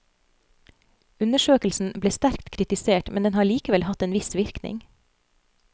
Undersøkelsen ble sterkt kritisert, men den har likevel hatt en viss virkning.